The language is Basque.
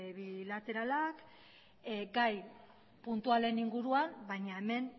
bilateralak gai puntualen inguruan baina hemen